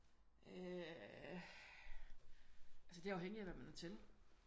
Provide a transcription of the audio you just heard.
Øh altså det er afhængig af hvad man er til